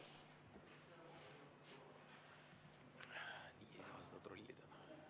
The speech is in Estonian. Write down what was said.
V a h e a e g